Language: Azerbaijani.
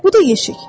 Bu da yeşik.